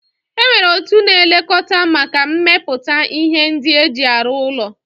Enwere otu na-elekota maka mmeputa ihe ndi e ji arụ ụlọ